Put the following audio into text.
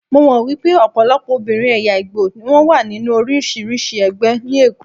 Mo mọ̀ wípé ọ̀pọ̀lọpọ̀ obìnrin ẹ̀yà Ìgbò ni wón wà nínú oríṣiríṣi ẹgbẹ́ ní Èkó.